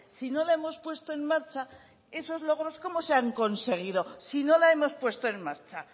si no la hemos puesto en marcha esos logros cómo se han conseguido si no la hemos puesto en marcha